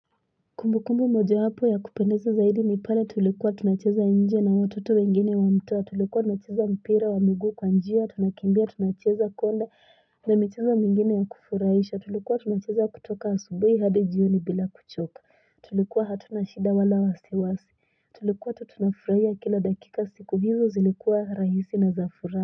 Kumbu kumbu moja wapo ya kupendeza zaidi ni pale tulikuwa tunacheza nje na watoto wengine wa mtaa tulikuwa tunacheza mpira wa mgu kwa njia tunakimbia tunacheza konde ni michezo mengine ya kufurahisha tulikuwa tunacheza kutoka asubuhi hadi jioni bila kuchoka tulikuwa hatuna shida wala wasi wasi tulikuwa tu tunafurahia kila dakika siku hizo zilikuwa rahisi na zafuraha.